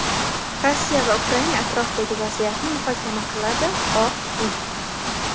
Rossiya va Ukraina atrofidagi vaziyatni muhokama qiladi – Oq uy.